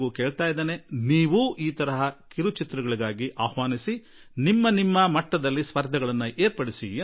ಇದೇ ತೆರನಾದ ಚಿತ್ರಗಳಿಗೆ ಆಹ್ವಾನ ನೀಡಿ ಸ್ಪರ್ಧೆ ಏರ್ಪಡಿಸಿ ಎಂದು ನಾನು ಟಿವಿ ವಾಹಿನಿಯವರನ್ನೂ ಕೇಳುವೆ